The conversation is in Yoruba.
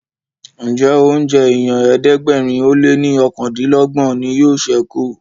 Njé oúnjẹ ènìyàn ẹ̀ẹ́dẹ̀gbẹ̀rin o lẹ ní okàndinlogbon ní yóò sẹku?